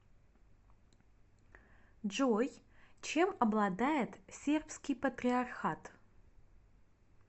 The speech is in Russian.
джой чем обладает сербский патриархат